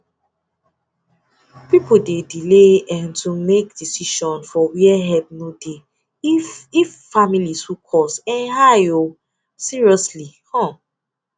people dey delay um to make decision for where help no dey if if family too cost um high o seriously um